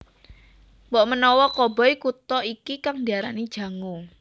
Mbokmenawa koboi Kuta iki kang diarani Jango